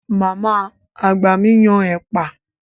Màmá àgbà mi yan ẹ̀pà.